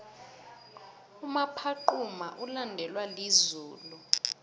umaphaxuma ulandelwa lizulu